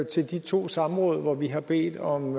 til de to samråd hvor vi havde bedt om